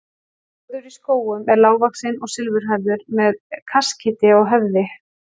Þórður í Skógum er lágvaxinn og silfurhærður með kaskeiti á höfði.